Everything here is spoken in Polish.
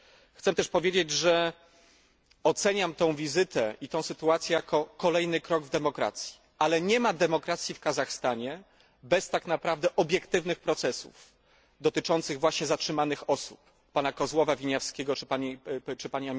Chcę też powiedzieć, że oceniam tę wizytę i tę sytuację jako kolejny krok w demokracji, ale nie ma demokracji w Kazachstanie bez tak naprawdę obiektywnych procesów dotyczących właśnie zatrzymanych osób pp. Kozłowa, Winiawskiego czy p.